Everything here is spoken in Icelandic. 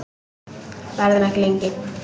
Verðum ekki lengi.